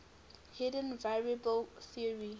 hidden variable theory